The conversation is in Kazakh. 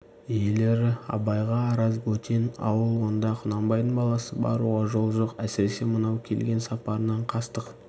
иелері абайға араз бөтен ауыл онда құнанбайдың баласы баруға жол жоқ әсіресе мынау келген сапарынан қастық